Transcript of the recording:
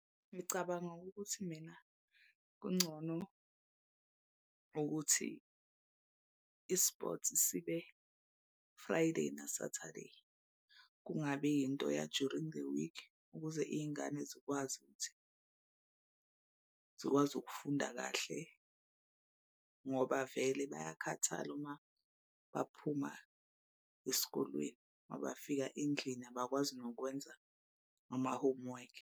Ngicabanga ukuthi mina kungcono ukuthi i-sport sibe-Friday na-Saturday. Kungabi yinto ya-during the week ukuze iy'ngane zikwazi ukuthi zikwazi ukufunda kahle. Ngoba vele bayakhathala uma baphuma esikolweni uma bafika endlini abakwazi nokwenza ama-homework.